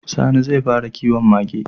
Sani zai fara kiwon Mage